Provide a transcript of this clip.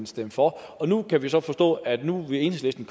stemme for og nu kan vi så forstå at enhedslisten